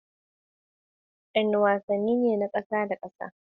Wadanne wasanni ne na kasa da kasa?